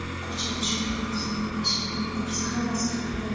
Ko‘chada shunaqa rusumli mashinani ko‘rsa havas qilardi.